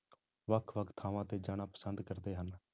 ਵੱਖ ਵੱਖ ਥਾਵਾਂ ਤੇ ਜਾਣਾ ਪਸੰਦ ਕਰਦੇ ਹਨ।